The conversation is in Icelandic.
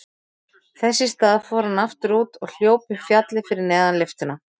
Þess í stað fór hann aftur út og hljóp upp fjallið fyrir neðan lyftuna.